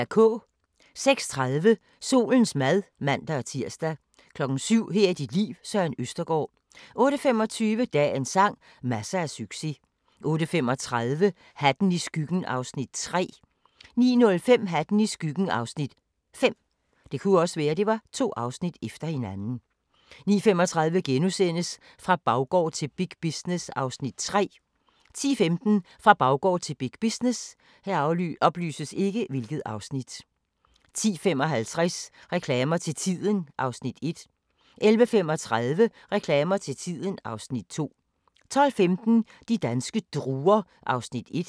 06:30: Solens mad (man-tir) 07:00: Her er dit liv – Søren Østergaard 08:25: Dagens sang: Masser af succes 08:35: Hatten i skyggen (Afs. 3) 09:05: Hatten i skyggen (Afs. 5) 09:35: Fra baggård til big business (Afs. 3)* 10:15: Fra baggård til big business 10:55: Reklamer til tiden (Afs. 1) 11:35: Reklamer til tiden (Afs. 2) 12:15: De danske druer (1:6)